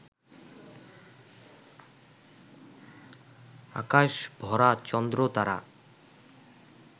আকাশ ভরা চন্দ্র-তারা,